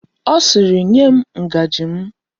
Ọ sịịrị, nye m ngaji m!